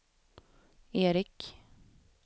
Eric